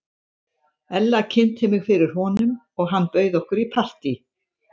Ella kynnti mig fyrir honum og hann bauð okkur í partí.